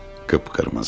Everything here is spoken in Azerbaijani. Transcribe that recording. Qıpqırmızı.